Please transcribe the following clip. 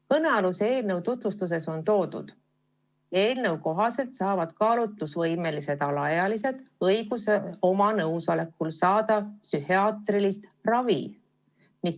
Kõnealuse eelnõu tutvustuses on öeldud, et eelnõu kohaselt saavad kaalutlusvõimelised alaealised õiguse omal tahtel saada psühhiaatrilist ravi.